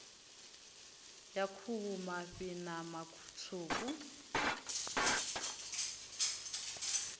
ya khuhu mafhi ṋama tswuku